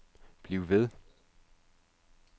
bliv ved